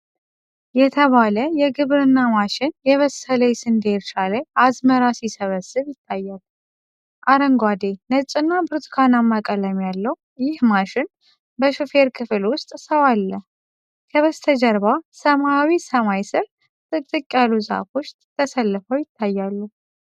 CLAAS DOMINATOR የተባለ የግብርና ማሽን፣ የበሰለ የስንዴ እርሻ ላይ አዝመራ ሲሰበስብ ይታያል። አረንጓዴ፣ ነጭ እና ብርቱካንማ ቀለም ያለው ይህ ማሽን በሾፌር ክፍል ውስጥ ሰው አለው። ከበስተጀርባ ሰማያዊ ሰማይ ስር ጥቅጥቅ ያሉ ዛፎች ተሰልፈው ይታያሉ።